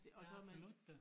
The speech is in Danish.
Ja absolut da